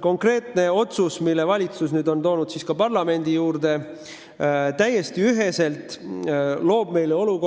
Konkreetne otsus, mille valitsus on nüüd toonud ka parlamendi ette, ei ole selline, nagu